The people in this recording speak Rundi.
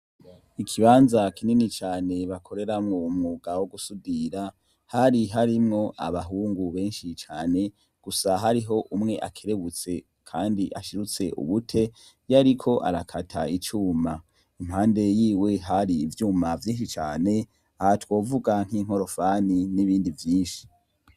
Ikibanza kinini cane bakoreramwo umwuga wo gusudira hari harimwo abahungu benshi cane gusa hariho umwe akerebutse, kandi ashirutse ubute yariko arakata icuma impande yiwe hari ivyuma vyinshi cane aha twovuga nk'inkorofani n’ibindi ndivyinshi.